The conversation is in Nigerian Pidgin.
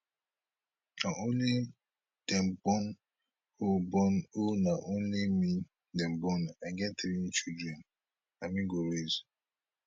na only dem born oh born oh na only me dem born i get three children na me go raise